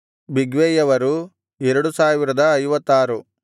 ಬಿಗ್ವೈಯವರು 2056